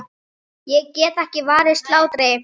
Ég get ekki varist hlátri.